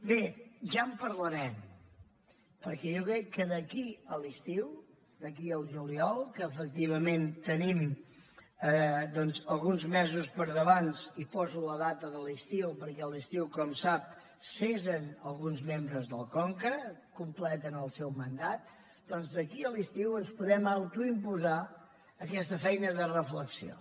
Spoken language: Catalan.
bé ja en parlarem perquè jo crec que d’aquí a l’estiu d’aquí al juliol que efectivament tenim alguns mesos per davant i poso la data de l’estiu perquè a l’estiu com sap cessen alguns membres del conca completen el seu mandat doncs d’aquí a l’estiu ens podem autoimposar aquesta feina de reflexió